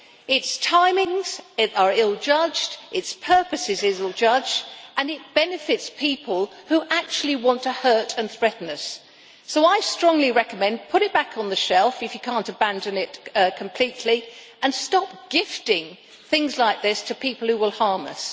Its timing is ill judged, its purpose is ill judged, and it benefits people who actually want to hurt and threaten us. So I strongly recommend you to put it back on the shelf if you can't abandon it completely and stop gifting things like this to people who will harm us.